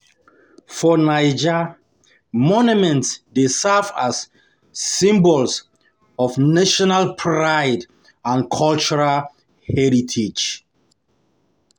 For Naija, monuments dey serve as symbols of national pride and cultural heritage.